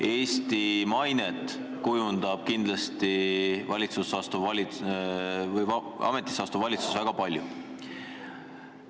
Eesti mainet kujundab ametisse astuv valitsus kindlasti väga palju.